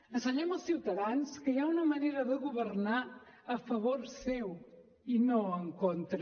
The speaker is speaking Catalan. ensenyem als ciutadans que hi ha una manera de governar a favor seu i no en contra